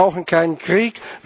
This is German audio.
Wir brauchen keinen Krieg.